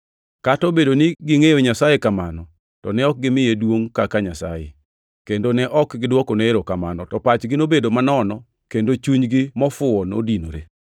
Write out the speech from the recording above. Kata obedo ni negingʼeyo Nyasaye kamano, to ne ok gimiye duongʼ kaka Nyasaye, kendo ne ok gidwokone erokamano, to pachgi nobedo manono kendo chunygi mofuyo nodinore.